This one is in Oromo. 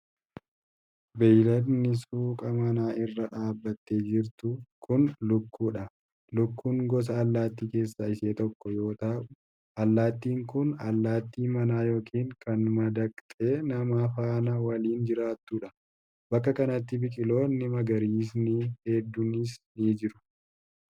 Beeyiladni suuqa manaa irra dhaabattee jirtu kun, lukkuu dha, Lukkuun gosa allattii keessaa isa tokko yoo ta'u, allaattiin kun allaattii manaa yookin kan madaqxee nama faana waliin jiraattu dha. Bakka kanatti biqiloonni magariisni hedduunis ni jiru.